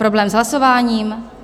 Problém s hlasováním?